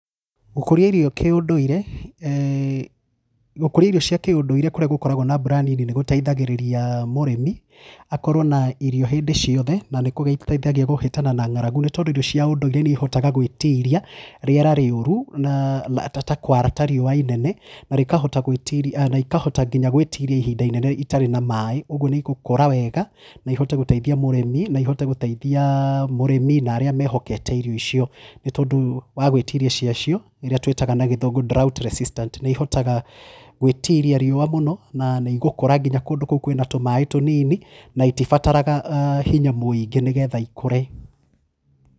Gũkũria irio kĩũndũire eeh gũkũria irio cia kĩũndũire kũrĩa gũkoragwo na mbura nini nĩgũteithagĩrĩria mũrĩmi akorwo na irio hĩndĩ ciothe, na nĩkũgĩteithagia kũhĩtana na ng'aragu nĩ tondũ irio cia ũndũire nĩihotaga gwĩtiria rĩera rĩũru, na ta kwara ta riũa inene, na rĩkahota gwĩtiria na ikahota nginya gwĩtiria ihinda inene itarĩ na maaĩ, ũguo nĩigũkũra wega na ihote gũteithia mũrĩmi na ihote gũteithia mũrĩmi na arĩa mehokete irio icio. Nĩ tondũ wa gwĩtiria cia cio, irĩa twĩtaga na gĩthũngũ drought resistant nĩihotaga gwĩtiria riũa mũno na nĩigũkũra nginya kũndũ kũo kwĩna tũmaĩ tũnini na itibataraga hinya mũingĩ nĩgetha ikũre.